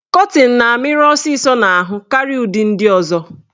Kọtịn na-amịrị ọsịsọ n'ahụ karịa ụdị ndị ọzọ.